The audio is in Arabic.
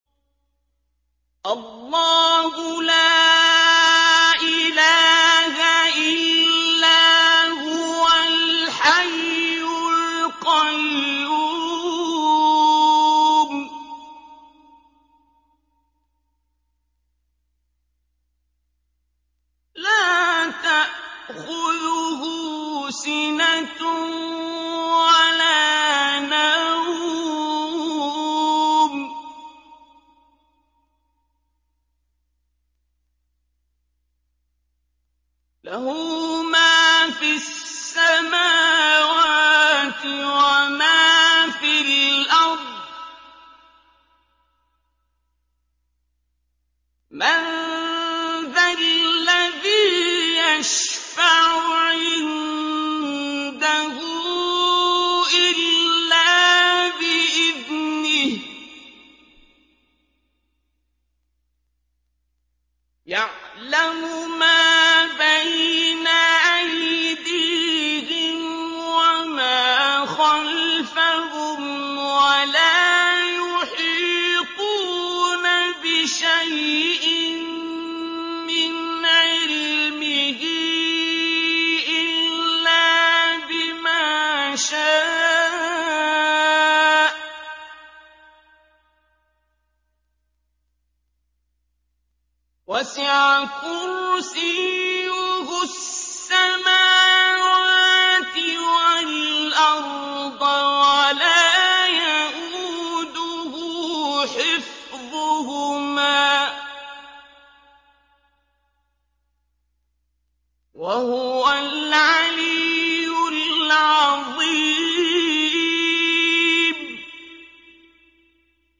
اللَّهُ لَا إِلَٰهَ إِلَّا هُوَ الْحَيُّ الْقَيُّومُ ۚ لَا تَأْخُذُهُ سِنَةٌ وَلَا نَوْمٌ ۚ لَّهُ مَا فِي السَّمَاوَاتِ وَمَا فِي الْأَرْضِ ۗ مَن ذَا الَّذِي يَشْفَعُ عِندَهُ إِلَّا بِإِذْنِهِ ۚ يَعْلَمُ مَا بَيْنَ أَيْدِيهِمْ وَمَا خَلْفَهُمْ ۖ وَلَا يُحِيطُونَ بِشَيْءٍ مِّنْ عِلْمِهِ إِلَّا بِمَا شَاءَ ۚ وَسِعَ كُرْسِيُّهُ السَّمَاوَاتِ وَالْأَرْضَ ۖ وَلَا يَئُودُهُ حِفْظُهُمَا ۚ وَهُوَ الْعَلِيُّ الْعَظِيمُ